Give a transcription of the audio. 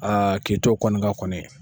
k'i t'o kɔni kan kɔni.